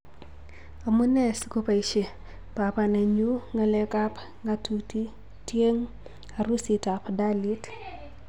"Amu nee sikoboisie babanenyu ng'alekab ng'atutieteng harusitabDalit.